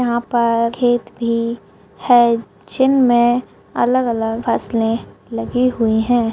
यहाँ पर खेत भी है जिनमे अलग-अलग फसले लगी हुई है।